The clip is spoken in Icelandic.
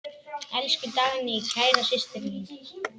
Elsku Dagný, kæra systir mín.